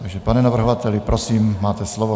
Takže pane navrhovateli, prosím, máte slovo.